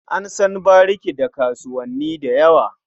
An san bariki da kasuwanni da yawa.